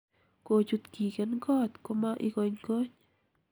kochut kigen koot koma ikonykony